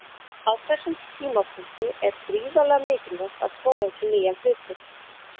Á þessum tímapunkti er gríðarlega mikilvægt að prófa ekki nýja hluti.